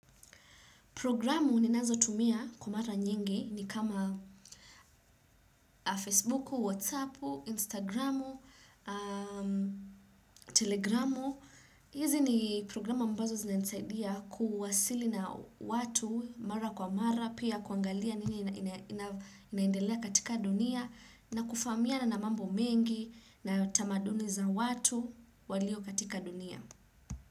Programu ninazo tumia kwa mara nyingi ni kama Facebook, Whatsapp, Instagram, Telegram. Hizi ni programu ambazo zinasaidia kuwasili na watu mara kwa mara, pia kuangalia nini inaindelea katika dunia, na kufamiana na namambo mengi, na tamaduni za watu walio katika dunia.